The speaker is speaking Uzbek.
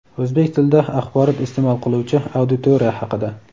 o‘zbek tilida axborot isteʼmol qiluvchi auditoriya haqida.